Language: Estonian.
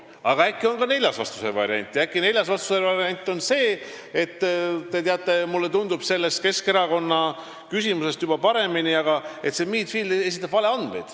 Aga äkki on olemas ka neljas vastusevariant ja see on see, et mulle tundub, et Keskerakonna küsimuses esitab Midfield valeandmeid?